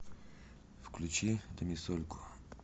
включи домисольку